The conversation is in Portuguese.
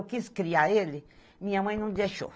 Eu quis criar ele, minha mãe não deixou.